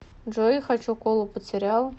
джой хочу колу под сериал